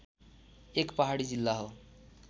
एक पहाडी जिल्ला हो